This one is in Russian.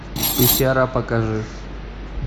пещера покажи